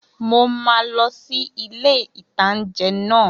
Mo máa lọ sí ilé-ìtánjẹ náà